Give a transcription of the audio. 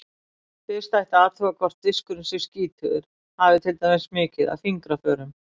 Fyrst ætti að athuga hvort diskurinn sé skítugur, hafi til dæmis mikið af fingraförum.